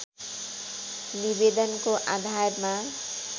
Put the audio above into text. निवेदनको आधारमा